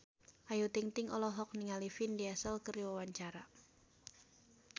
Ayu Ting-ting olohok ningali Vin Diesel keur diwawancara